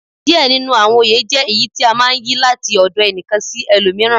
Diẹ ninu awọn oyè jẹ èyí tí a máa ń yí, láti ọ̀dọ̀ ẹnìkan sí ẹlòmíràn.